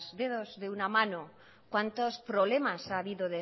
dedos de una mano cuantos problemas ha habido